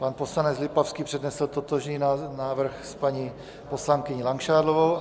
Pan poslanec Lipavský přednesl totožný návrh s paní poslankyní Langšádlovou.